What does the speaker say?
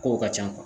Kow ka ca